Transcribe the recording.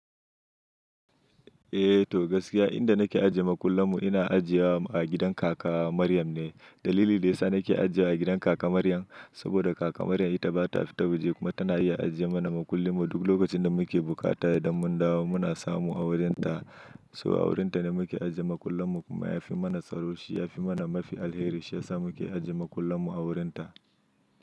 Eh to gaskiya inda nake ajiye makullanmu ina ajiye wa a gidan kaka Maryam ne. Dalili da yasa nake ajiye a gidan kaka Maryam, saboda kaka Maryam ita bata fita waje kuma tana iya ajiye mana makullinmu. Duk lokacin da muke bukata idan mun dawo muna samu a wurinta. To a wurinta ne muke ajiye makullinmu kuma yafi mana tsaro, shi yafi mana mafi alheri shiyasa muke ajiye makullinmu a wurinta.